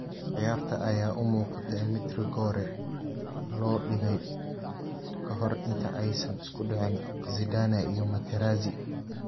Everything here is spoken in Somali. Ciyaarta ayaa u muuqatay mid rigoore loo dhigay ka hor inta aysan isku dhicin Zidane iyo Materazzi.